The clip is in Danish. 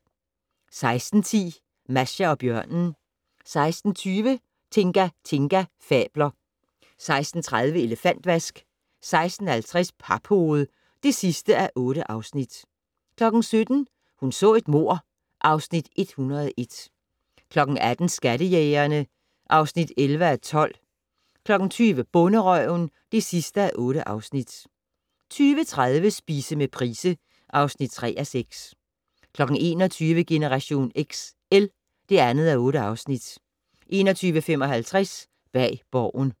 16:10: Masha og bjørnen 16:20: Tinga Tinga fabler 16:30: Elefantvask 16:50: Paphoved (8:8) 17:00: Hun så et mord (Afs. 101) 18:00: Skattejægerne (11:12) 20:00: Bonderøven (8:8) 20:30: Spise med Price (3:6) 21:00: Generation XL (2:8) 21:55: Bag Borgen